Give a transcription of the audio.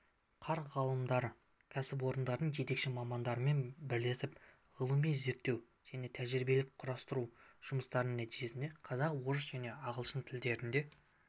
қар ғалымдары кәсіпорындардың жетекші мамандарымен бірлесіп ғылыми-зерттеу және тәжірибелік-құрастыру жұмыстарының нәтижесінде қазақ орыс және ағылшын тілдерінде